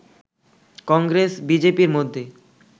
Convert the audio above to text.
কংগ্রেস-বিজেপি-র মধ্যে